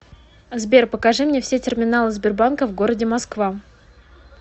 сбер покажи мне все терминалы сбербанка в городе москва